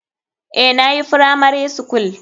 Eh nayi firamari skul.